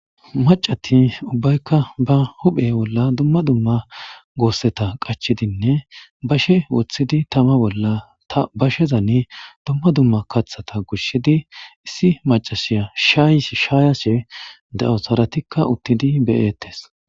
Macati ubbayka ba huphe bolla dumma dumma goseta qachidinne bashe wothidi tama bolla ha bashezan dumma dumma kathata gusidi issi macasya shayashe dawus haratika utidi be'etes